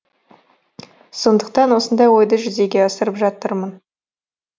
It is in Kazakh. сондықтан осындай ойды жүзеге асырып жатырмын